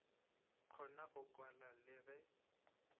kgona go kwa le ge